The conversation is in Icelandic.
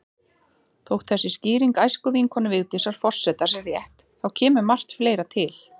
Þótt þessi skýring æskuvinkonu Vigdísar forseta sé rétt, þá kemur margt fleira til.